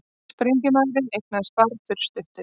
Sprengjumaðurinn eignaðist barn fyrir stuttu